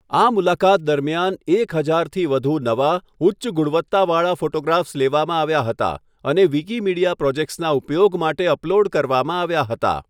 આ મુલાકાત દરમિયાન એક હજારથી વધુ નવા, ઉચ્ચ ગુણવત્તાવાળા ફોટોગ્રાફ્સ લેવામાં આવ્યા હતા અને વિકિમીડિયા પ્રોજેક્ટ્સના ઉપયોગ માટે અપલોડ કરવામાં આવ્યા હતા.